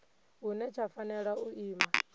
hune tsha fanela u ima